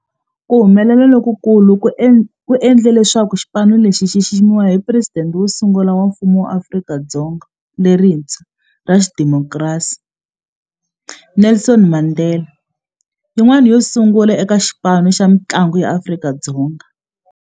Ku humelela loku ku endle leswaku xipano lexi xi xiximiwa hi Presidente wo sungula wa Mfumo wa Afrika-Dzonga lerintshwa ra xidemokirasi, Nelson Mandela, yin'wana yo sungula eka xipano xa mintlangu xa Afrika-Dzonga.